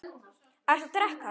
Ertu að drekka?